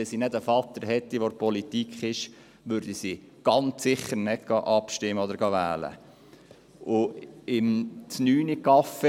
Wenn sie nicht einen Vater hätte, der in der Politik ist, würde sie ganz sicher nicht abstimmen und nicht wählen gehen.